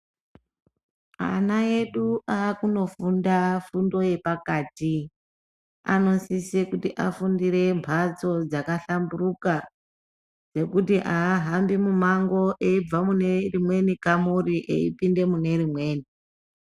Ana edu akunofunda fundo yepakati anosisire kuti afundire mbatso dzakahlamburuka yekuti aahambi mumango eibve mune rimweni kamuri eipinde mune rimweni.